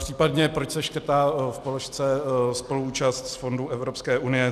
Případně proč se škrtá v položce spoluúčast z fondu Evropské unie.